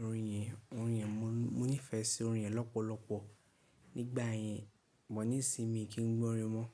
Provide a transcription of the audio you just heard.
orin rẹ, orin rẹ, mo nífẹ̀ẹ́ sí orin rẹ lọ́pọ̀lọpọ̀ nígbà yẹn. Bọ̀ ní ìsinmi kí n gbọ́ orin mọ́.